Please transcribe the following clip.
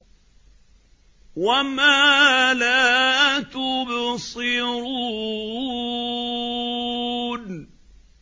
وَمَا لَا تُبْصِرُونَ